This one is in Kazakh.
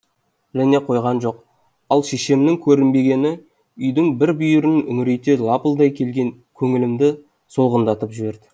ал шешемнің көрінбегені үйдің бір бүйірін үңірейте лапылдай келген көңілімді солғындатып жіберді